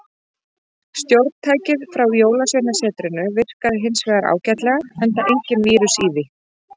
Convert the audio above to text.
Stjórntækið frá jólsveinasetrinu virkaði hins vegar ágætlega, enda enginn vírus í því.